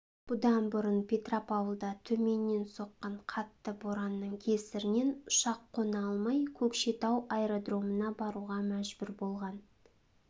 бұдан бұрын петропавлда төменнен соққан қатты боранның кесірінен ұшақ қона алмай көкшетау аэродромына баруға мәжбүр болған